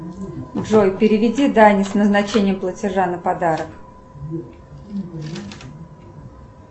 джой переведи дане с назначением платежа на подарок